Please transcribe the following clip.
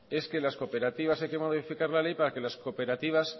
es que modificar la ley para que las cooperativas